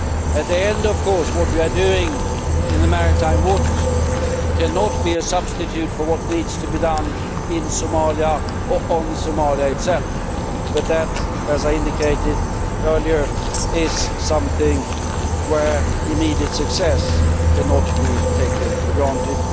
At the end of the day, of course, what we are doing in the maritime waters cannot be a substitute for what needs to be done in Somalia or on Somalia itself, but that, as I indicated earlier, is something where immediate success cannot be taken for granted.